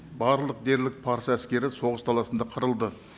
барлық дерлік парсы әскері соғыс таласында қырылды